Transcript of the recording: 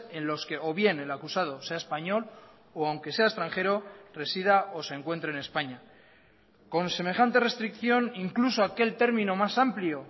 en los que o bien el acusado sea español o aunque sea extranjero resida o se encuentre en españa con semejante restricción incluso aquel término más amplio